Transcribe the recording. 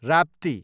Rapti